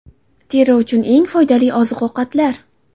Teri uchun eng foydali oziq-ovqatlar.